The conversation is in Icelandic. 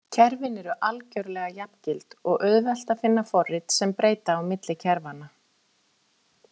Kerfin eru algjörlega jafngild og auðvelt að finna forrit sem breyta á milli kerfanna.